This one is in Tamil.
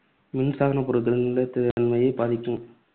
மின்சாதன பொருட்களின் நிலைத்தன்மையைப் பாதிக்கும்.